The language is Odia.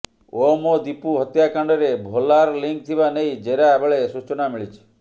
ଓମ୍ ଓ ଦୀପୁ ହତ୍ୟାକାଣ୍ଡରେ ଭୋଲାର ଲିଙ୍କ ଥିବା ନେଇ ଜେରା ବେଳେ ସୂଚନା ମିଳିଛି